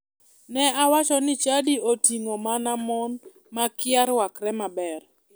Ne owacho ni chadi oting'o mana mon makia rwakre maber.